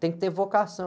Tem que ter vocação.